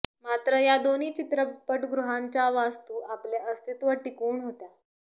मात्र या दोन्ही चित्रपटगृहांच्या वास्तू आपले अस्तित्व टिकवून होत्या